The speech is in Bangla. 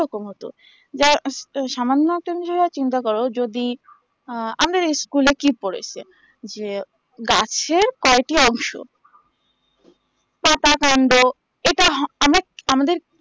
সেরকম হতো যে সামান্য তুমি যদি চিন্তা করো যদি আ আমাদের school এ কি পরেসে যে গাছের কয়টি অংশ পাতা কান্ড এটা হো আমরা আমাদের